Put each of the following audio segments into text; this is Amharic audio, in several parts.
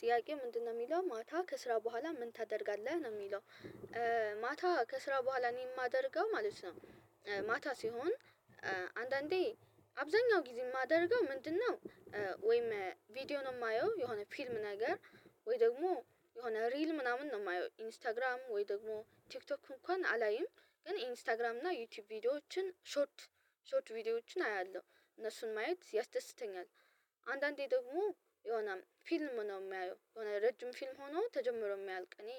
ጥያቄ ምንድነው የሚለው ማታ ከስራ በኋላ ምን ታደርጋለህ ነው የሚለው? ማታ ከስራ በኋላ እኔ የማደርገው ማለት ነው። ማታ ሲሆን አንዳንዴ አብዛኛው ጊዜ የማደርገው ምንድነው? ወይም ቪዲዮ ነው የማየው የሆነ ፊልም ነገር ወይ ደግሞ የሆነ ሪል ምናምን ነው የማየው ኢንስታግራም ወይ ደግሞ ቲክቶክ እንኳን አላይም ግን ኢንስታግራም እና ዩቲዩብ ቪዲዮዎችን ሾርት ሾርት ቪዲዮዎችን አያለሁ እነሱን ማየት ያስደስተኛል። አንዳንዴ ደግሞ የሆነ ፊልም ነው የማየው የሆነ ረጅም ፊልም ሆኖ ተጀምሮ የሚያልቅ እኔ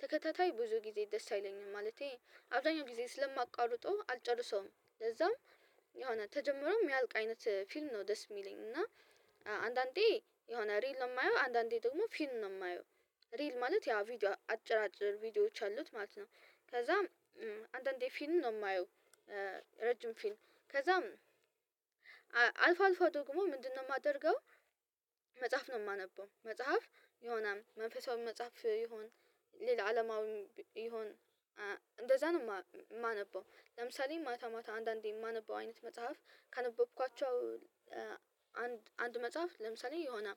ተከታታይ ብዙ ጊዜ ደስ አይለኝም ማለቴ አብዛኛው ጊዜ ስለማቋርጠው አልጨርሰውም። ለዛም የሆነ ተጀመረው የሚያልቅ አይነት ፊልም ነው ደስ የሚለኝ እና። አንዳንዴ የሆነ ሪል ነው የማየው አንዳንዴ ደግሞ ፊል ነው የማየው ሪል ማለት ያ ቪዲዮ አጭር አጭር ቪዲዮዎች አሉት ማለት ነው። ከዛም አንዳንዴ ፊልም ነው የማየው። ረጅም ፊልም ከዛም አልፎ አልፎ ደግሞ ምንድነው የማደርገው? መጽሐፍ ነው የማነበው መጽሐፍ የሆነም መንፈሳዊ መጽሐፍ ይሁን ሌላ አለማዊ ይሁን እንደዛ ነው የማነበው። ለምሳሌ ማታ ማታ አንዳንዴ የማነበው አይነት መጽሐፍ ካነበብኳቸው አንድ መጽሐፍ ለምሳሌ የሆነ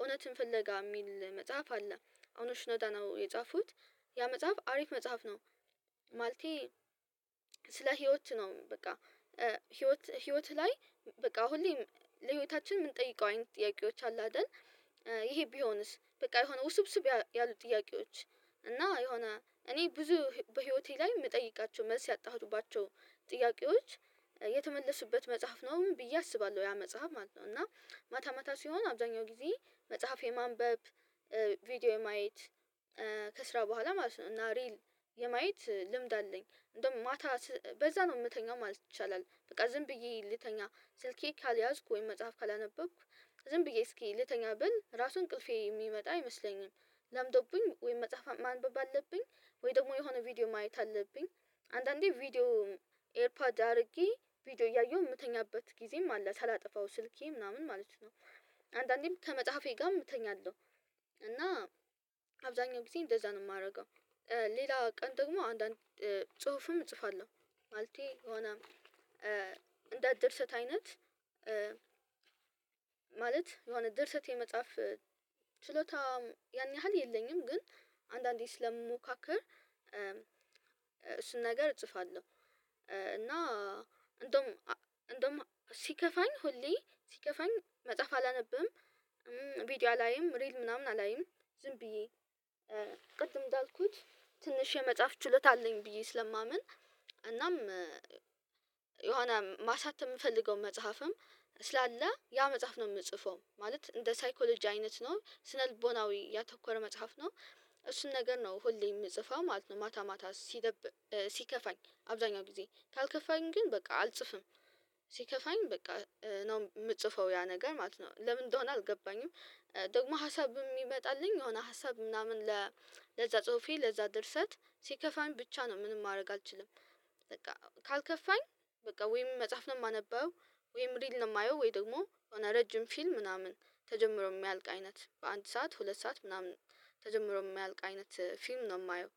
እውነትን ፍለጋ የሚል መጽሐፍ አለ ተገኝ አባተ ነው የጻፉት ያ መጽሐፍ አሪፍ መጽሐፍ ነው። ማለቴ ስለ ህይወት ነው በቃ ህይወት ህይወት ላይ በቃ አሁን ለህይወታችን የምንጠይቀው አይነት ጥያቄዎች አለ አ ደል ይሄ ቢሆንስ በቃ የሆነ ውስብስብ ያሉ ጥያቄዎች እና የሆነ እኔ ብዙ በህይወቴ ላይ የምጠይቃቸው መልስ ያጣሁባቸው ጥያቄዎች የተመለሱበት መጽሐፍ ነው ብዬ አስባለሁ ያ መጽሐፍ ማለት ነው። እና ማታ ማታ ሲሆን አብዛኛው ጊዜ መጽሐፍ የማንበብ ቪዲዮ የማየት ከስራ በኋላ ማለት ነው እና ሪል የማየት ልምድ አለኝ እንደውም ማታ በዛ ነው የምተኛው ማለት ይቻላል። በቃ ዝም ብዬ ልተኛ ስልኬ ካልያዝኩ ወይም መጽሐፍ ካላነበብኩ ዝም ብዬ እስኪ ልተኛ ብል ራሱን ቅልፌ የሚመጣ አይመስለኝም። ለምዶብኝ ወይም መጽሐፍ ማንበብ አለብኝ። ወይ ደግሞ የሆነ ቪዲዮ ማየት አለብኝ። አንዳንዴ ቪዲዮ ኤርፓድ አድርጌ ቪዲዮ እያየሁ የምተኛበት ጊዜም አለ ሳላጠፋው ስልኬ ምናምን ማለት ነው። አንዳንዴም ከመጽሐፌ ጋም እተኛለሁ እና አብዛኛው ጊዜ እንደዛ ነው የማደርገው። ሌላ ቀን ደግሞ አንዳንድ ጽሁፍም እጽፋለሁ። ማለቴ የሆነ እንደ ድርሰት አይነት ማለት የሆነ ድርሰት የመጽሐፍ ችሎታ ያን ያህል የለኝም። ግን አንዳንዴ ስለምሞካክር እሱን ነገር እጽፋለሁ። እና እንደውም እንደውም ሲከፋኝ ሁሌ ሲከፋኝ መጽሐፍ አላነብም ቪዲዮ አላይም ሪል ምናምን አላይም። ዝም ብዬ ቅድም እንዳልኩት ትንሽ የመጽሐፍ ችሎታ አለኝ ብዬ ስለማምን እናም የሆነ ማሳተም የምፈልገው መጽሐፍም ስላለ ያ መጽሐፍ ነው የምጽፈው ማለት እንደ ሳይኮሎጂ አይነት ነው ስነልቦናዊ ያተኮረ መጽሐፍ ነው። እሱን ነገር ነው ሁሌ የምጽፈው ማለት ነው። ማታ ማታ ሲደብ ሲከፋኝ አብዛኛው ጊዜ ካልከፋኝ ግን በቃ አልጽፍም። ሲከፋኝ በቃ ነው የምጽፈው ያ ነገር ማለት ነው ለምን እንደሆነ አልገባኝም። ደግሞ ሀሳብ የሚመጣልኝ የሆነ ሀሳብ ምናምን ለዛ ጽሁፌ ለዛ ድርሰት ሲከፋኝ ብቻ ነው ምንም ማድረግ አልችልም። በቃ ካልከፋኝ በቃ ወይም መጽሐፍ ነው የማነበው ወይም ሪል ነው የማየው ወይ ደግሞ የሆነ ረጅም ፊልም ምናምን ተጀምሮ የሚያልቅ አይነት በአንድ ሰዓት ሁለት ሰዓት ምናምን ተጀምሮ የምያልቅ አይነት ፊልም ነው የማየው።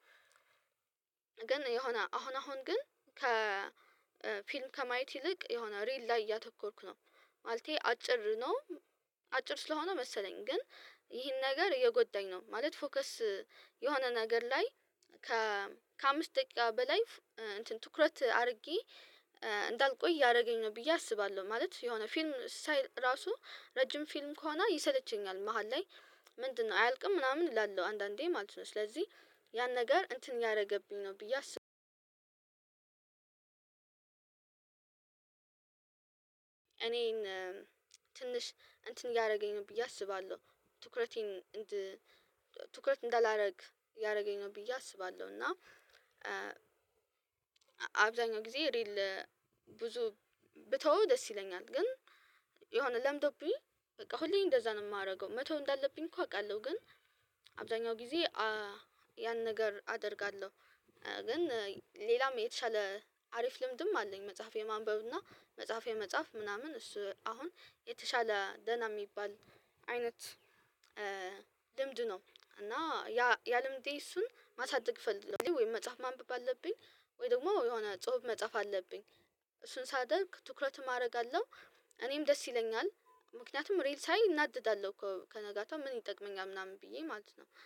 ግን የሆነ አሁን አሁን ግን ከ ፊልም ከማየት ይልቅ የሆነ ሪል ላይ እያተኮርኩ ነው ማለቴ አጭር ነው። አጭር ስለሆነ መሰለኝ ግን ይህን ነገር እየጎዳኝ ነው ማለት ፎከስ የሆነ ነገር ላይ ከ ከአምስት ደቂቃ በላይ እንትን ትኩረት አድርጌ እንዳልቆይ እያረገኝ ነው ብዬ አስባለሁ ማለት የሆነ ፊልም ሳይ እራሱ ረጅም ፊልም ከሆነ ይሰለቸኛል መሃል ላይ ምንድነው አያልቅም ምናምን እላለሁ አንዳንዴ ማለት ነው ስለዚህ ያን ነገር እንትን ያረገብኝ ነው ብዬ አስባለሁ እኔን ትንሽ እንትን እያረገኝ ነው ብዬ አስባለሁ። ትኩረቴን ትኩረት እንዳላደርግ እያረገኝ ነው ብዬ አስባለሁ። እና አብዛኛው ጊዜ ሪል ብዙ ብተወው ደስ ይለኛል። ግን የሆነ ለምዶብኝ በቃ ሁሌ እንደዛ ነው የማረገው መተው እንዳለብኝ እኮ አውቃለሁ። ግን አብዛኛው ጊዜ ያን ነገር አደርጋለሁ። ግን ሌላም የተሻለ አሪፍ ልምድም አለኝ። መጽሐፍ የማንበብ እና መጽሐፍ የመጻፍ ምናምን እሱ አሁን የተሻለ ደህና የሚባል አይነት ልምድ ነው እና ያ ያልምዴ እሱን ማሳደግ ፈለኩኝ። ወይ መጽሐፍ ማንበብ አለብኝ ወይ ደግሞ የሆነ ጽሁፍ መጽሐፍ አለብኝ እሱን ሳደርግ ትኩረት ማድረግ አለው እኔም ደስ ይለኛል። ምክንያቱም ሪል ሳይ እናደዳለሁ እኮ ከነጋታው ምን ይጠቅመኛል ምናምን ብዬ ማለት ነው